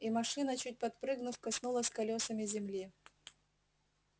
и машина чуть подпрыгнув коснулась колёсами земли